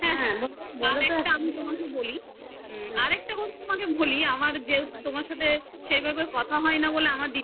আর একটা কথা তোমাকে বলি আমার যে তোমার সাথে সেভাবে কথা বলা হয় না